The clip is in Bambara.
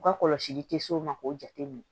U ka kɔlɔsili tɛ se o ma k'o jate minɛ